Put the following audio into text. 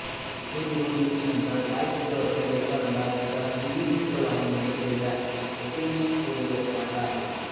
इथे निवडणुकीनंतर काय चित्र असेल याचा अंदाज एका हिंदी वृत्तवाहिनीने केलेल्या ओपिनिअन पोलद्वारे मांडला आहे